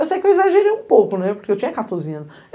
Eu sei que eu exagerei um pouco, né, porque eu tinha quatorze anos.